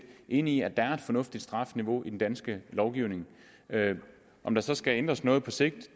enige i at der er et fornuftigt strafniveau i den danske lovgivning om der så skal ændres noget på sigt